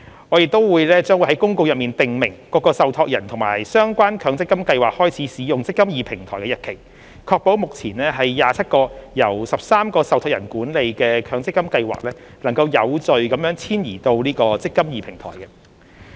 我們亦將於公告中訂明各個受託人和相關強積金計劃開始使用"積金易"平台的日期，確保目前27個由13個受託人管理的強積金計劃能有序遷移至"積金易"平台。